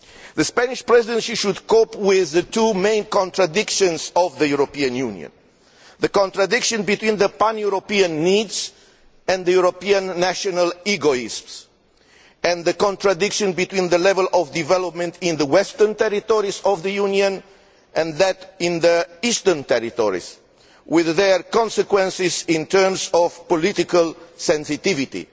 The Spanish Presidency should cope with the two main contradictions of the European Union the contradiction between pan European needs and European national egoists, and the contradiction between the level of development in the western territories of the Union and that in the eastern territories, with their consequences in terms of political sensitivity.